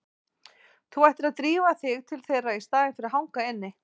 Þú ættir að drífa þig til þeirra í staðinn fyrir að hanga inni.